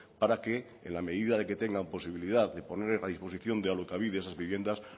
para que en la medida de que tengan posibilidad de poner a disposición de alokabide esas viviendas